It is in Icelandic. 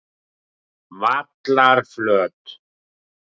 Vallarflöt